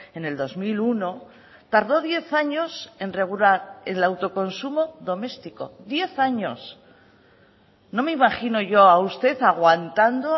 en el dos mil uno tardó diez años en regular el autoconsumo doméstico diez años no me imagino yo a usted aguantando